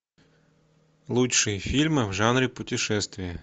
лучшие фильмы в жанре путешествия